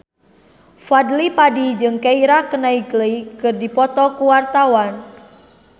Fadly Padi jeung Keira Knightley keur dipoto ku wartawan